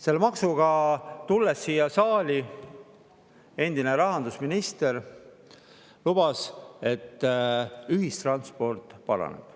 Selle maksuga siia saali tulles lubas endine rahandusminister, et ühistranspordi paraneb.